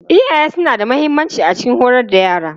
Iyaye suna da mahimmanci a cikin horar da yara.